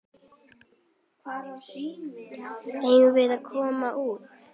Eigum við að koma út?